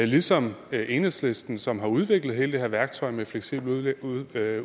ligesom enhedslisten som har udviklet hele det her værktøj med fleksibel udlejning at